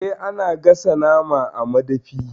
Eh, ana gasa naman a madafi.